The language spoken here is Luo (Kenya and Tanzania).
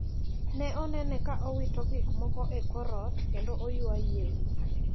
Ne onene ka owito gikmoko e kor ot kendo oywa yie wiya.